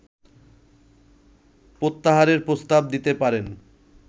প্রত্যাহারের প্রস্তাব দিতে পারেন